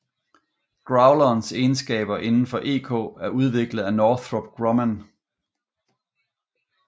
Growlerens egenskaber indenfor EK er udviklet af Northrop Grumman